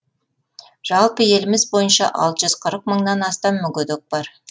жалпы еліміз бойынша алты жүз қырық мыңнан астам мүгедек бар